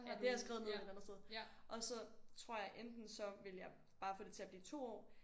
Ja det har jeg skrevet ned et eller andet sted og så tror jeg enten ville jeg bare få det til at blive 2 år